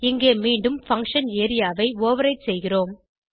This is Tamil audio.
இங்கே மீண்டும் பங்ஷன் ஏரியா ஐ ஓவர்ரைடு செய்கிறோம்